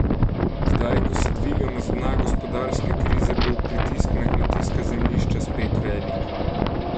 Zdaj, ko se dvigamo z dna gospodarske krize, bo pritisk na kmetijska zemljišča spet velik.